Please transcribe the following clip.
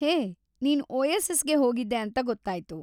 ಹೇ, ನೀನ್‌ ಓಯಸಿಸ್‌ಗೆ ಹೋಗಿದ್ದೆ ಅಂತ ಗೊತ್ತಾಯ್ತು.